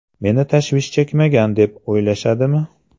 Meni tashvish chekmagan, deb o‘ylashadimi?